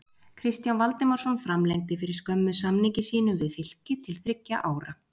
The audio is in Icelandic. Kristján Valdimarsson framlengdi fyrir skömmu samningi sínum við Fylki til þriggja ára.